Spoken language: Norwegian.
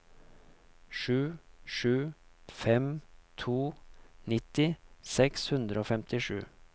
sju sju fem to nitti seks hundre og femtisju